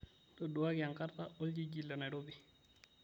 ntoduaki enkata oljiji le nairobi